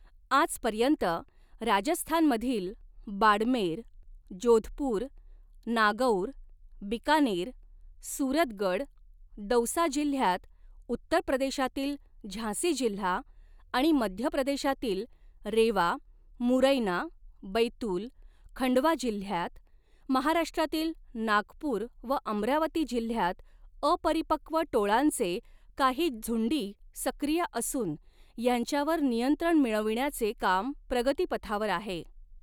आजपर्यंत, राजस्थानमधील बाडमेर, जोधपूर, नागौर, बीकानेर, सूरतगड, दौसा जिल्ह्यांत, उत्तर प्रदेशातील झांसी जिल्हा आणि मध्य प्रदेशातील रेवा, मुरैना, बैतूल, खंडवा जिल्ह्यात, महाराष्ट्रातील नागपूर व अमरावती जिल्ह्यात अपरिपक्व टोळांचे काही झुंडी सक्रिय असून यांच्यावर नियंत्रण मिळविण्याचे काम प्रगतीपथावर आहे.